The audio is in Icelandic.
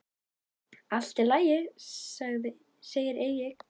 Allt í lagi, segir Egill.